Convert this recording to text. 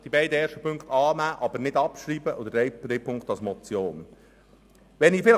Die ersten beiden Punkte sind anzunehmen, aber nicht abzuschreiben, und der dritte Punkt ist als Motion anzunehmen.